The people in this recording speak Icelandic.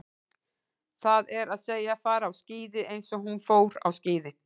Það er að segja, fara á skíði eins og hún fór á skíði.